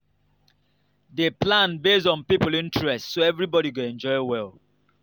dey plan based on people interest so everybody go enjoy well